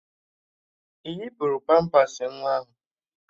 Ị yipuru pampas nwa ahụ?